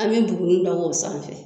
An mɛ buguni da o sanfɛ